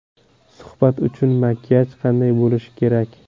Suhbat uchun makiyaj qanday bo‘lishi kerak?